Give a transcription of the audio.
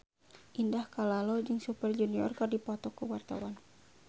Indah Kalalo jeung Super Junior keur dipoto ku wartawan